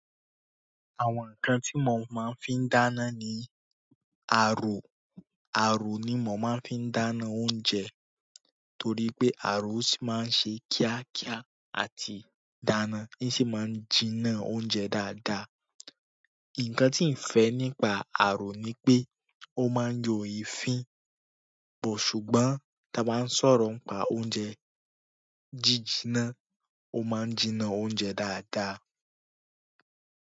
Àwọn nǹkan tí mò máa ń fi dáná ni aró. Àrò ni mò máa ń fi dáná oúnjẹ torí pé àrò sì máa ń ṣe kíákíá àti dáná, ń sì máa ń jinná oúnjẹ dáadáa. Nǹkan tí ǹ fẹ́ nípa aró ni pé ó máa ń yọ èéfín, but ṣùgbọ́n táa bá ń sọ̀rọ̀ ńpa oúnjẹ jíjnná, ó máa ń jinná oúnjẹ dáadáa.